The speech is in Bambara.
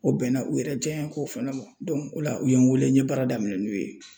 O bɛnna u yɛrɛ jaɲeko fana ma o la u ye n wele n ye baara daminɛ n'u ye.